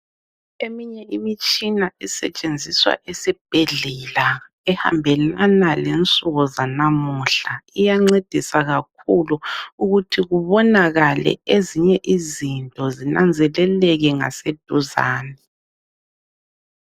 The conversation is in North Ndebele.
Eminye imitshina esetshenziswa esibhedlela ehambelana lensuku zanamuhla iyancedisa kakhulu ukuthi kubonakale ezinye izinto zinanzeleleke ngaseduzane.